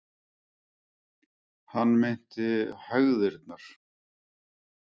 Hann meinti hægðirnar.